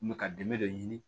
N bɛ ka dɛmɛ dɔ ɲini